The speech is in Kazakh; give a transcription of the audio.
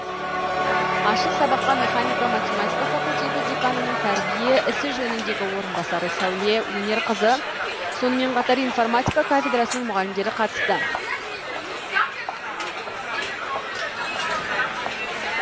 ашық сабаққа механика математика факультеті деканының тәрбие ісі жөніндені орынбасары сәуле әнерқызы сонымен қатар информатика кафедрасының мұғалімдері қатысты